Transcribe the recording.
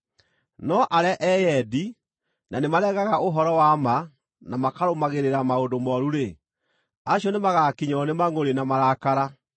No arĩa eyendi, na nĩmaregaga ũhoro-wa-ma na makarũmagĩrĩra maũndũ mooru-rĩ, acio nĩmagakinyĩrwo nĩ mangʼũrĩ na marakara.